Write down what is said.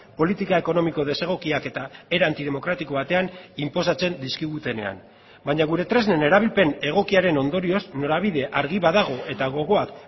politika ekonomiko desegokiak eta era antidemokratiko batean inposatzen dizkigutenean baina gure tresnen erabilpen egokiaren ondorioz norabidea argi badago eta gogoak